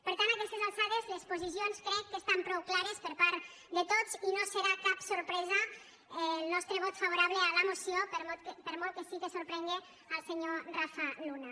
per tant a aquestes alçades les posicions crec que estan prou clares per part de tots i no serà cap sorpresa el nostre vot favorable a la moció per molt que sí que sorprenga el senyor rafa luna